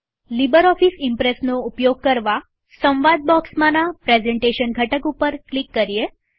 LibreOffice ઈમ્પ્રેસનો ઉપયોગ કરવાસંવાદ બોક્સમાંના પ્રેઝન્ટેશન ઘટક પર ક્લિક કરીએ